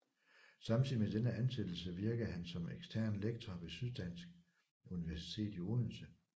Samtidig med denne ansættelse virkede han som ekstern lektor ved Syddansk Universitet i Odense